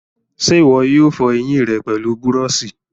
ṣé ìwọ yóò fọ ẹyìn rẹ pẹlú búrọ̀sì?